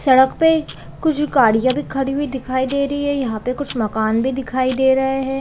सड़क पे कुछ गाड़ियाँ भी ख़ड़ी हुई दिखाई दे रही है यहाँ पे कुछ मक़ान भी दिखाई दे रहे हैं ।